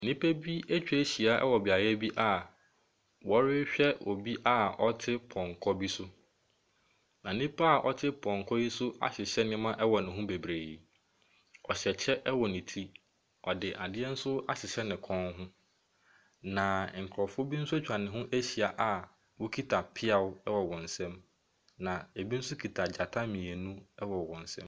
Nnipa bi atwa ahyia wɔ beaeɛ bi a wɔrehwɛ obi a ɔte pɔnkɔ bi so. Na nipa a ɔte pɔnkɔ yi so ahyehyɛ nneɛma wɔ ne ho bebree. Ɔhyɛ kyɛ wɔ ne yi. Ɔde adeɛ nso ahyehyɛ ne kɔn, na nkurɔfoɔ bi nso atwa ne ho ahyia a wɔkita mpea wɔ wɔn nsam. Na ɛbi nso kita gyata mmienu wɔ wɔn nsam.